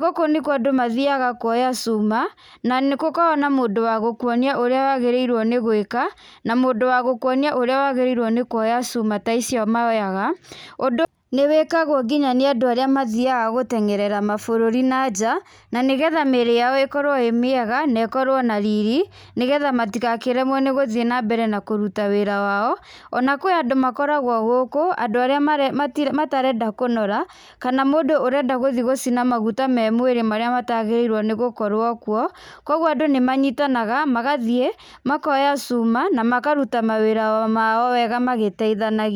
Gũkũ nĩkuo andũ mathiaga kuoya cuma, na nĩ gũkoragwo na mũndũ wa gũkuonia ũrĩa wagĩrĩirwo nĩ gwĩka, na mũndũ wa gũkuonia ũrĩa wagĩrĩirwo nĩ kuoya cuma ta icio moyaga. Ũndũ nĩ wĩkagwo nginya nĩ andũ arĩa mathiaga gũtenyerera mabũrũri na nja, na nĩ getha mĩĩrĩ yao ĩkorwo ĩĩ mĩega na ĩkorwo na riri, nĩ getha matigakĩremwo nĩ gũthiĩ na mbere na kũruta wĩra wao, ona kwĩ andũ makoragwo gũkũ, andũ arĩa marĩ matire matarenda kũnora, kana mũndũ ũrenda gũthi gũcina maguta me mwĩrĩ marĩa matagĩrĩirwo nĩ gũkorwo kuo. Kũguo andũ nĩ manyitanaga magathiĩ makoya cuma na makaruta mawĩra mao wega magĩteithanagia.